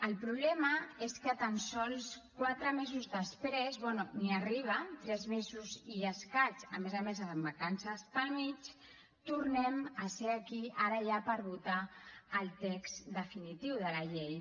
el problema és que tan sols quatre mesos després bé ni hi arriba tres mesos i escaig a més a més amb vacances pel mig tornem a ser aquí ara ja per votar el text definitiu de la llei